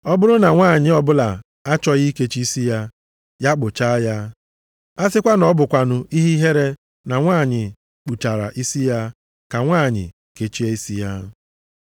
Ọ bụrụ na nwanyị ọbụla achọghị ikechi isi ya, ya kpụchaa ya. A sịkwa na ọ bụkwanụ ihe ihere na nwanyị kpụchara isi ya, ka nwanyị kechie isi ya.